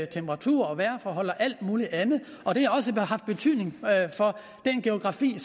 temperatur og vejrforhold og alt muligt andet og det har også haft betydning for den geografi